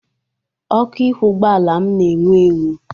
Ọkụ ihu ụgbọala m na-enwu enwu.